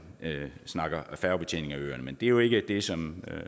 snakker færgebetjening af øerne men det er jo ikke det som